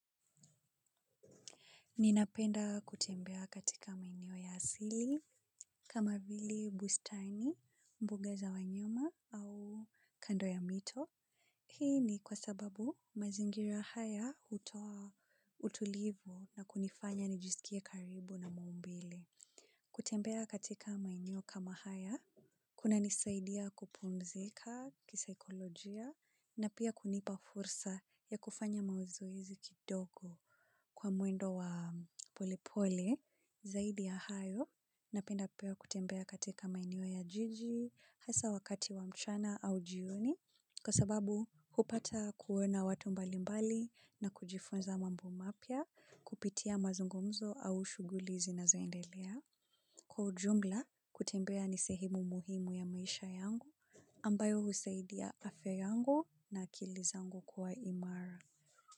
Ninapenda kutembea katika maeneo ya asili kama vile bustani, mbuga za wanyama au kando ya mito. Hii ni kwa sababu mazingira haya hutoa utulivu na kunifanya nijisikia karibu na maumbile. Kutembea katika maeneo kama haya, kunanisaidia kupumzika kisaikolojia na pia kunipa fursa ya kufanya mazoezi kidogo. Kwa mwendo wa pole pole, zaidi ya hayo, napenda pia kutembea katika maeneo ya jiji, hasa wakati wa mchana au jioni. Kwasababu, hupata kuona watu mbali mbali na kujifunza mambo mapya, kupitia mazungumzo au shughuli zinazoendelea. Kwa ujumla, kutembea ni sehemu muhimu ya maisha yangu, ambayo husaidia afya yangu na akili zangu kuwa imara.